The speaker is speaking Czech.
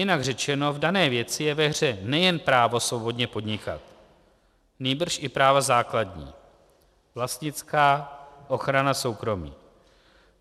Jinak řečeno, v dané věci je ve hře nejen právo svobodně podnikat, nýbrž i práva základní - vlastnická, ochrana soukromí.